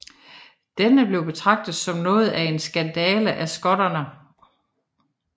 Dette blev betragtet som noget af en skandale af skotterne